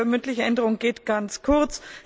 Die mündliche Änderung geht ganz kurz.